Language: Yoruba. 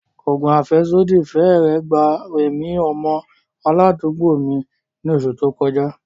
Oògùn afẹsodi fẹ́rẹ̀ẹ́ gba ẹ̀mí ọmọ aládùúgbò mi ní oṣù tó kọjá.